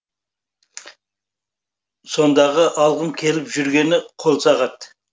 сондағы алғым келіп жүргені қолсағат